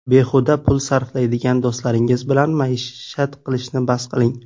Behuda pul sarflaydigan do‘stlaringiz bilan maishat qilishni bas qiling.